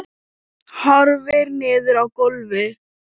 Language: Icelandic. Horfir niður á gólfið.